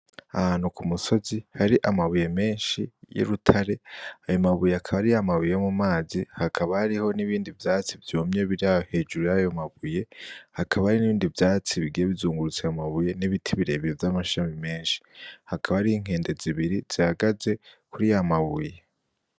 Ahantu kumusozi Hari amabuye menshi y'urutare. Ayo mabuye akaba ari yamabuye yo mumazi. Hakaba hariho n'ibindi vyatsi vyumye biraho hejuru yaho mabuye. Hakaba hariho n'ibindi vyatsi bigiye bizungurutse ayo mabuye, n'ibiti birebire vy'amashami menshi. Hakaba hariho inkende zibiri zihagaze kurayo mabuye.